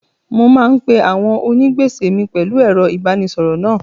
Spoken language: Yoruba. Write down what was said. Mo máa ń pe àwọn onígbèsè mi pẹ̀lú ẹ̀rọ ìbánisọ̀rọ̀ náà.